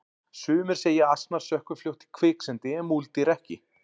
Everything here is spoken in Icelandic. sumir segja að asnar sökkvi fljótt í kviksyndi en múldýr ekki